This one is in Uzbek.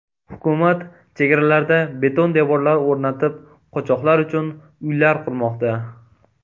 Hukumat chegaralarda beton devorlar o‘rnatib, qochoqlar uchun uylar qurmoqda.